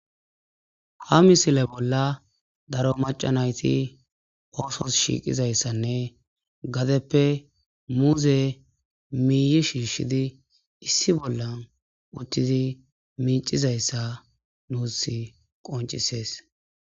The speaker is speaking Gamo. Ha missile bolla daro maca naytti oththios shiiqizayssanne gadeppe muze miihi shiishshidi issi bolla woththidi micizayssa nussi qoncisees